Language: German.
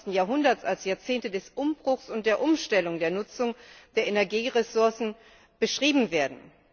21. Jahrhunderts als Jahrzehnte des Umbruchs und der Umstellung der Nutzung der Energieressourcen beschrieben werden.